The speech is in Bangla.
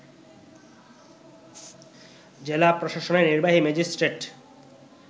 জেলা প্রশাসনেরনির্বাহী ম্যাজিস্ট্রেট